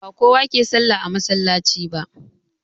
Ba kowa ke sallah a masallaci ba